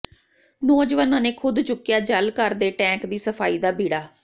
ਨੌਜਵਾਨਾਂ ਨੇ ਖ਼ੁਦ ਚੁੱਕਿਆ ਜਲ ਘਰ ਦੇ ਟੈਂਕ ਦੀ ਸਫਾਈ ਦਾ ਬੀੜਾ